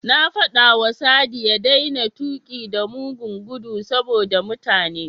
Na faɗawa Sadi ya daina tuƙi da mugun gudu saboda mutane.